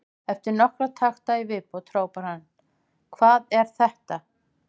Eftir nokkra takta í viðbót hrópaði hann: Hvað er þetta?